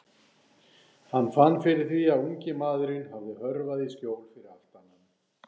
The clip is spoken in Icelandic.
Hann fann fyrir því að ungi maðurinn hafði hörfað í skjól fyrir aftan hann.